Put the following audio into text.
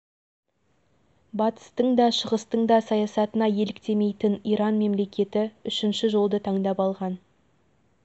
саяси бағыттары жер бетіндегі мұсылман жұртымен достықта бауырластықта ынтымақтастықта өмір сүру болып табылады